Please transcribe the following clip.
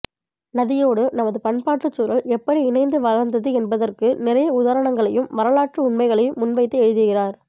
நதியோடு நமது பண்பாட்டுச் சூழல் எப்படி இணைந்து வளர்ந்தது என்பதற்கு நிறைய உதாரணங்களையும் வரலாற்று உண்மைகளையும் முன்வைத்து எழுதுகிறார்